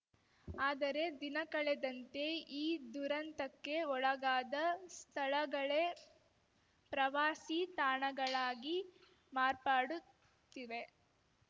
ಆದರೆ ದಿನಕಳೆದಂತೆ ಈ ದುರಂತಕ್ಕೆ ಒಳಗಾದ ಸ್ಥಳಗಳೇ ಪ್ರವಾಸಿ ತಾಣಗಳಾಗಿ ಮಾರ್ಪಾಡುತ್ತಿವೆ